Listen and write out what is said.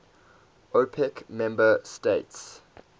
opec member states